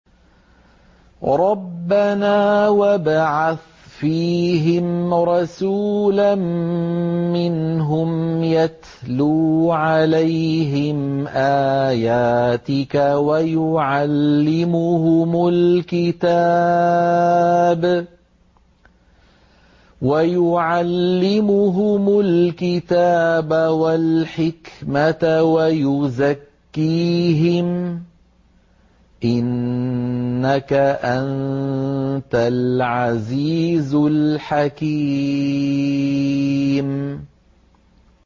رَبَّنَا وَابْعَثْ فِيهِمْ رَسُولًا مِّنْهُمْ يَتْلُو عَلَيْهِمْ آيَاتِكَ وَيُعَلِّمُهُمُ الْكِتَابَ وَالْحِكْمَةَ وَيُزَكِّيهِمْ ۚ إِنَّكَ أَنتَ الْعَزِيزُ الْحَكِيمُ